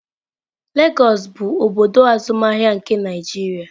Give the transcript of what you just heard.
Lagọs bụ obodo azụmahịa nke Naịjirịa.